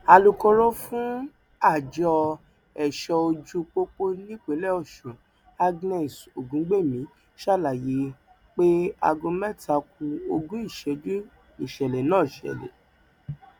alūkkóró fún àjọ ẹṣọ ojú pópó nípínlẹ ọṣun agnès ògúngbẹmí ṣàlàyé pé aago mẹta ku ogún ìṣẹjú nìṣẹlẹ náà ṣẹlẹ